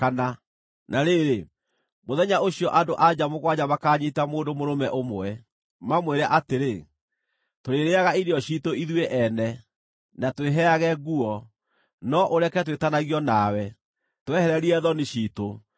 Na rĩrĩ, mũthenya ũcio andũ-a-nja mũgwanja makaanyiita mũndũ mũrũme ũmwe, mamwĩre atĩrĩ, “Tũrĩrĩĩaga irio ciitũ ithuĩ ene, na twĩheage nguo; no ũreke twĩtanagio nawe. Twehererie thoni ciitũ!”